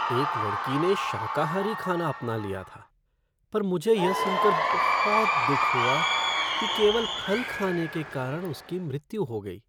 एक लड़की ने शाकाहारी खाना अपना लिया था पर मुझे यह सुनकर बहुत दुख हुआ कि केवल फल खाने के कारण उसकी मृत्यु हो गई।